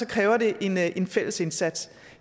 kræver det en fælles indsats